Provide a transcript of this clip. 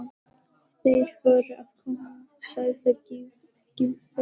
Þeir voru að koma sagði Gylfi.